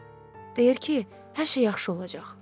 Deyər ki, hər şey yaxşı olacaq.